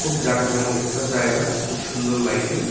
জাঁকজমক একটা জায়গা খুব সুন্দর লাইটিং ।